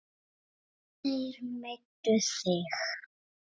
Þeir meiddu þig.